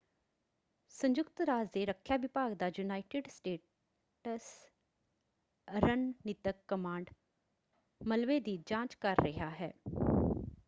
ਸੰਯੁਕਤ ਰਾਜ ਦੇ ਰੱਖਿਆ ਵਿਭਾਗ ਦਾ ਯੂਨਾਈਟਿਡ ਸਟੇਟਸ ਰਣਨੀਤਕ ਕਮਾਂਡ ਮਲਬੇ ਦੀ ਜਾਂਚ ਕਰ ਰਿਹਾ ਹੈ।